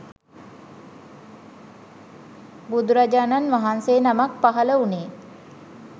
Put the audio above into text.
බුදුරජාණන් වහන්සේ නමක් පහළ වුණේ